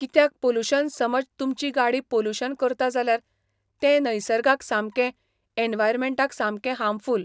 कित्याक पोलुशन समज तुमची गाडी पोलुशन करता जाल्यार तें नैसर्गाक सामकें, एनवायरमॅण्टाक सामकें हार्मफूल